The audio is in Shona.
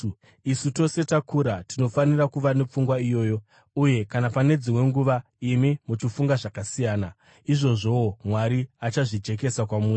Isu tose takura tinofanira kuva nepfungwa iyoyo. Uye kana pane dzimwe nguva imi muchifunga zvakasiyana, izvozvowo Mwari achazvijekesa kwamuri.